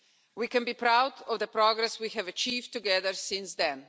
We can be proud of the progress we have achieved together since then.